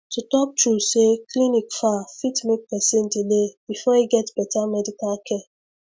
to talk true say clinic far fit make person delay before e get better medical care